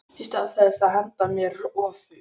Í stað þess að henda mér öfug